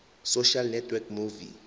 social network movie